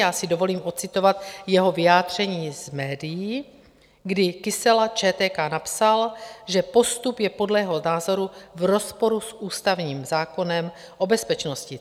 Já si dovolím odcitovat jeho vyjádření z médií, kdy Kysela ČTK napsal, že postup je podle jeho názoru v rozporu s ústavním zákonem o bezpečnosti.